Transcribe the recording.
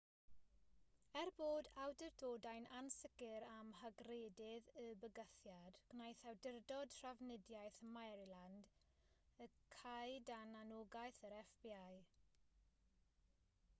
er bod awdurdodau'n ansicr am hygrededd y bygythiad gwnaeth awdurdod trafnidiaeth maryland y cau dan anogaeth yr fbi